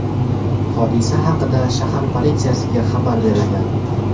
Hodisa haqida shahar politsiyasiga xabar berilgan.